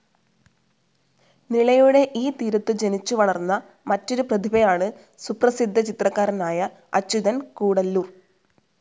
നിളയുടെ ഈ തീരത്തു ജനിച്ചുവളർന്ന മറ്റൊരു പ്രതിഭയാണ് സുപ്രസിദ്ധ ചിത്രകാരനായ അച്യുതൻ കൂടല്ലൂർ.